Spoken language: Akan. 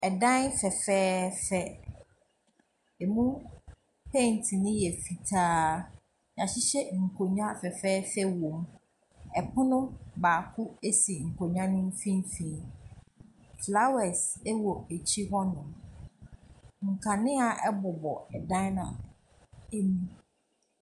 Ɛdan fɛfɛɛfɛ, ɛmu penti no yɛ fitaa. Wɔahyehyɛ nkonnwa fɛfɛɛfɛ wom. Pono baako si nkonnwa no mfimfini. Flowers wɔ akyire hɔnom. Nkanea bobɔ dan no mu.